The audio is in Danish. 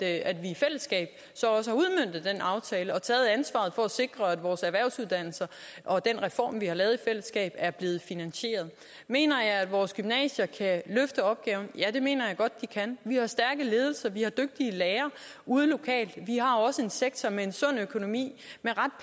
at vi i fællesskab så også har udmøntet den aftale og taget ansvaret for at sikre at vores erhvervsuddannelser og den reform vi har lavet i fællesskab er blevet finansieret mener jeg at vores gymnasier kan løfte opgaven ja det mener jeg godt de kan vi har stærke ledelser vi har dygtige lærere ude lokalt vi har også en sektor med en sund økonomi